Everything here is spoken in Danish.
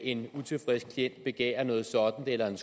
en utilfreds klient begærer noget sådant eller